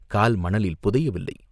கால் மணலில் புதையவில்லை.